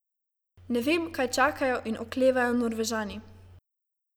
Ne vem, kaj čakajo in oklevajo Norvežani.